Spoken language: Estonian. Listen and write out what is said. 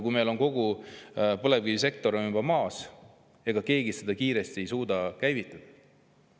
Kui meil on kogu põlevkivisektor juba maas, siis ega keegi ei suuda seda kiiresti käivitada.